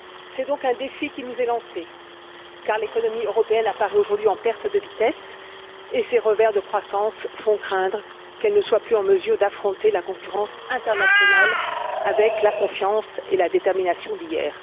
C'est donc un défi qui nous est lancé, car l'économie européenne apparaît aujourd'hui en perte de vitesse et ses revers de croissance font craindre qu'elle ne soit plus en mesure d'affronter la concurrence internationale avec la confiance et la détermination d'hier.